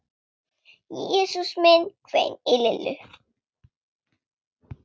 Jesús minn hvein í Lillu.